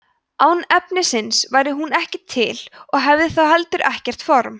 án efnisins væri hún ekki til og hefði þá heldur ekkert form